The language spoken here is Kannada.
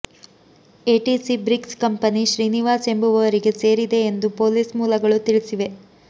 ಎಟಿಸಿ ಬ್ರಿಕ್ಸ್ ಕಂಪನಿ ಶ್ರೀನಿವಾಸ್ ಎಂಬುವವರಿಗೆ ಸೇರಿದೆ ಎಂದು ಪೊಲೀಸ್ ಮೂಲಗಳು ತಿಳಿಸಿವೆ